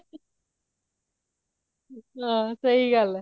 ਹਾਂ, ਸਹੀ ਗੱਲ ਇਹ